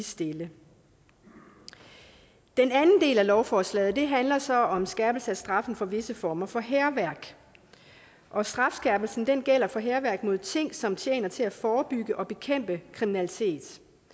stille den anden del af lovforslaget handler så om skærpelse af straffen for visse former for hærværk og strafskærpelsen gælder for hærværk mod ting som tjener til at forebygge og bekæmpe kriminalitet